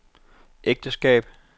ægteskab